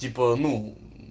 типа ну